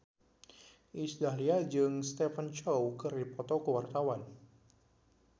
Iis Dahlia jeung Stephen Chow keur dipoto ku wartawan